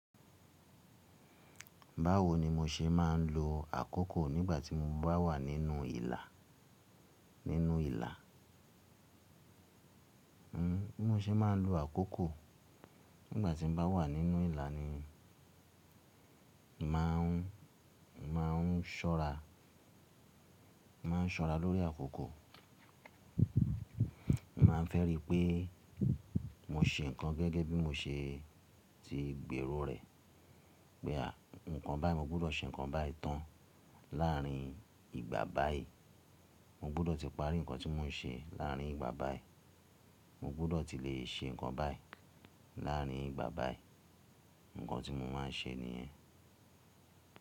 Báwo ni mo ṣe máa ń lo àkókò nígbà tí mo bá wà nínú ìlà? Nínú ìlà, hmmm, bí mo ṣe máa ń lo àkókò nígbà tí mo bá wà nínú ìlà ni, mo máa n, mo máa n ṣọ́ra, mo máa n ṣọ́ra lórí àkókò, mo ma n fẹ́ rí pé mo ṣe ǹkan gẹ́gẹ́ bí mo ṣe ti gbèrò rẹ̀. Pé à, nǹkan báyìí mo gbọ́dọ̀ ṣe nǹkan báyìí tán láàrin ìgbà báyìí. Mo gbọ́dọ̀ ti parí nǹkan tí mo n ṣe láàrin ìgbà báyìí. Mo gbọ́dọ̀ ti le ṣe nǹkan báyìí láàrin ìgbà báyìí. Nǹkan tí mo máa ń ṣe nìyẹn.